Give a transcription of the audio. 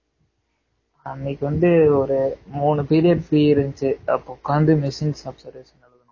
அன்னைக்கு வந்து ஒரு மூணு periods free இருந்துச்சு அப்போ உட்காந்து machines observation